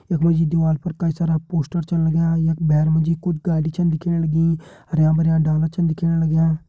यख मा जी दीवाल पर कई सारा पोस्टर छन लग्यां यख भैर मा जी कुछ गाड़ी छन दिखेण लगीं हरयां भरयां डाला छन दिखेण लग्यां।